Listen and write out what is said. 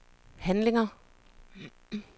handlinger